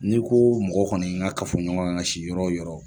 N'i ko mɔgɔ kɔni ka fɔ ɲɔgɔn kan ka si yɔrɔ o yɔrɔ